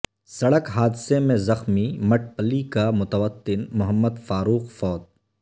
سڑک حادثہ میں زخمی مٹ پلی کا متوطن محمد فاروق فوت